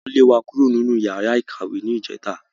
Wọ́n lé wa kúrò nínú yàrá ìkàwé ní ìjẹta